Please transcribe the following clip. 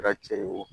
Kɛra cɛ ye wo